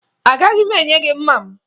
Agaghị m enye gị mma m